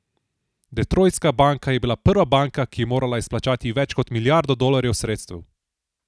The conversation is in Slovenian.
Detroitska banka je bila prva banka, ki je morala izplačati več kot milijardo dolarjev sredstev.